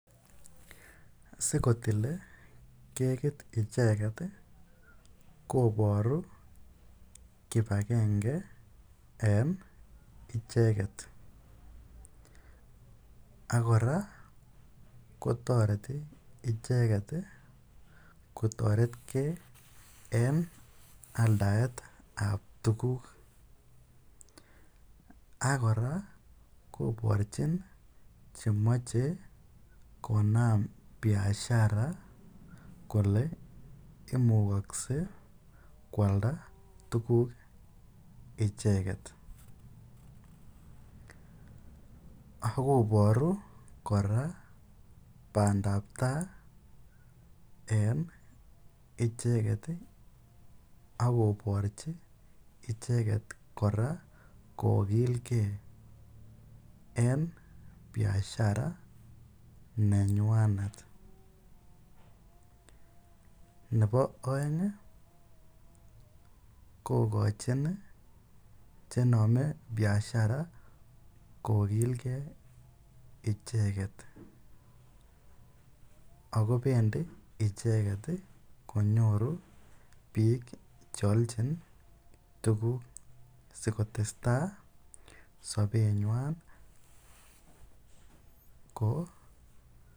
Sikotile kekit icheket koboru kibakenge en icheket ak kora kotoreti icheket kotortke en aldaetab tukuk ak kora koborchin chemoche konaam biashara kolee imukokse kwalda tukuk icheket, ak koboru bandab taai en icheket ak koborchi icheket kora koki, lke enbiashara nenywanet, nebo oeng kokochin chenome biashara kokilkee icheket ak kobendi icheket konyoru biik cheolchin tukuk asikotesta sobenywan koo.